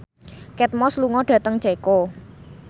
Kate Moss lunga dhateng Ceko